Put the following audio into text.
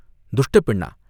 துஷ்டப் பெண்ணா?